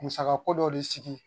Musako dɔ de sigi